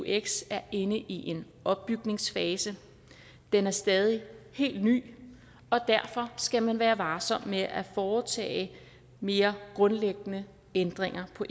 eux er inde i en opbygningsfase den er stadig helt ny og derfor skal man være varsom med at foretage mere grundlæggende ændringer på